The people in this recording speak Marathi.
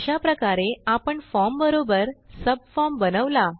अशाप्रकारे आपण फॉर्म बरोबर सबफॉर्म बनवला